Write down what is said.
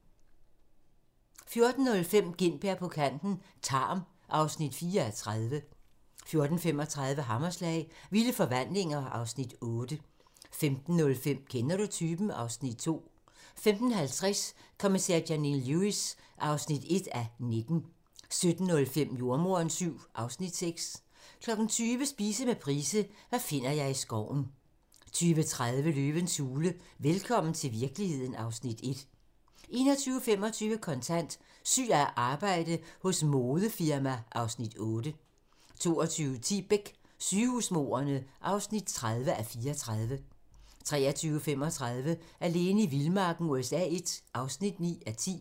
14:05: Gintberg på kanten - Tarm (4:30) 14:35: Hammerslag - Vilde forvandlinger (Afs. 8) 15:05: Kender du typen? (Afs. 2) 15:50: Kommissær Janine Lewis (1:19) 17:05: Jordemoderen VII (Afs. 6) 20:00: Spise med Price - hvad finder jeg i skoven 20:30: Løvens hule - velkommen til virkeligheden (Afs. 1) 21:25: Kontant: Syg af arbejde hos modefirma (Afs. 8) 22:10: Beck: Sygehusmordene (30:34) 23:35: Alene i vildmarken USA I (9:10)